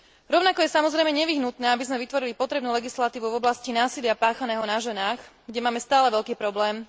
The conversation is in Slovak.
Rovnako je samozrejme nevyhnutné, aby sme vytvorili potrebnú legislatívu v oblasti násilia páchaného na ženách, kde máme stále veľký problém.